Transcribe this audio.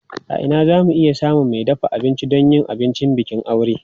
A ina za mu iya samun mai dafa abinci don yin abincin bikin aure?